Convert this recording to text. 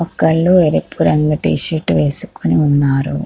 ఒకళ్ళు ఎరుపు రంగు టీ షర్ట్ వేసుకొని ఉన్నారు.